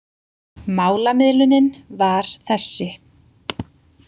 Málamiðlunin var þessi.